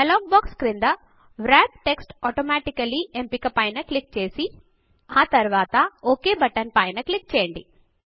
dialog box క్రింద wrap text automaticallyవ్రాప్ text automatically ఎంపిక పైన క్లిక్ చేసి ఆ తరువాత ఒక్ బటన్ పైన క్లిక్ చేయండి